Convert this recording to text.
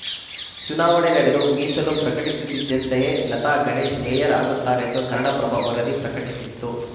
ಚುನಾವಣೆ ನಡೆದು ಮೀಸಲು ಪ್ರಕಟಿಸುತ್ತಿದ್ದಂತೆಯೇ ಲತಾ ಗಣೇಶ್‌ ಮೇಯರ್‌ ಆಗುತ್ತಾರೆಂದು ಕನ್ನಡಪ್ರಭ ವರದಿ ಪ್ರಕಟಿಸಿತ್ತು